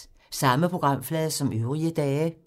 Samme programflade som øvrige dage